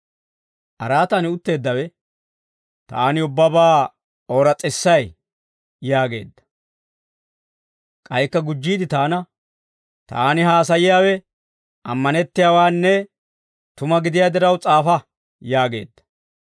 Araatan utteeddawe, «Taani ubbabaa ooras's'isay» yaageedda. K'aykka gujjiide taana, «Taani haasayiyaawe ammanettiyaawaanne tuma gidiyaa diraw s'aafa» yaageedda.